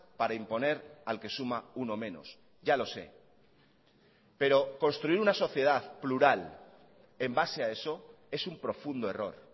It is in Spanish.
para imponer al que suma uno menos ya lo sé pero construir una sociedad plural en base a eso es un profundo error